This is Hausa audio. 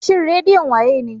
Shin redion wa ye ne?